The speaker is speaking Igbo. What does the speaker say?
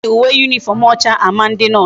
Eji uwe uniform ocha a ma ndi nurse